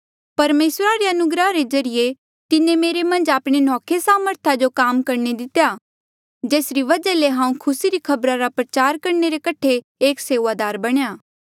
परमेसरा रे अनुग्रह रे ज्रीए तिन्हें मेरे मन्झ आपणी नौखे सामर्था जो काम करणे दितेया जेसरी वजहा ले हांऊँ खुसी री खबरा रा प्रचार करणे रे कठे एक सेऊआदार बणेया